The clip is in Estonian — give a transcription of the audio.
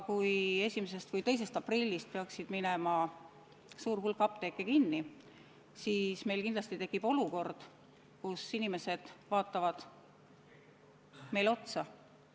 Kui 1. või 2. aprillist peaks suur hulk apteeke kinni minema, siis meil kindlasti tekib olukord, kus inimesed vaatavad meile otsa.